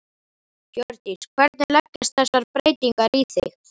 Hjördís: Hvernig leggjast þessar breytingar í þig?